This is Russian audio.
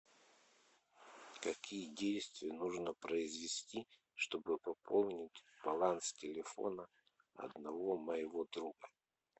какие действия нужно произвести чтобы пополнить баланс телефона одного моего друга